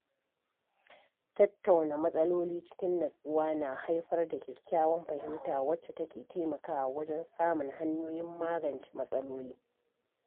Tattauna matsaloli cikin nutsuwa na haifar da kyakkyawan fahimta wacca take taimakawa wajen samun hanyoyin magance matsaloli.